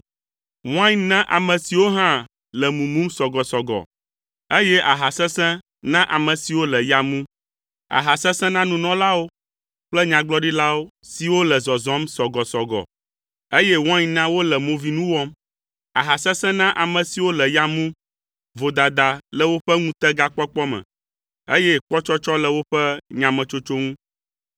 Wain na ame siwo hã le mumum sɔgɔsɔgɔ, eye aha sesẽ na ame siwo le ya mum. Aha sesẽ na nunɔlawo kple nyagblɔɖilawo siwo le zɔzɔm sɔgɔsɔgɔ eye wain na wole movinu wɔm. Aha sesẽ na ame siwo le ya mum. Vodada le woƒe ŋutegakpɔkpɔ me, eye kpɔtsɔtsɔ le woƒe nyametsotso ŋu.